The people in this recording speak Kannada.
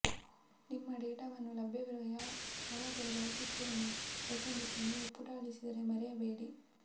ನಿಮ್ಮ ಡೇಟಾವನ್ನು ಲಭ್ಯವಿರುವ ಯಾರಾದರೂ ಬಯಸುತ್ತೇನೆ ಏಕೆಂದರೆ ನೀವು ಪುಟ ಅಳಿಸಿದರೆ ಮರೆಯಬೇಡಿ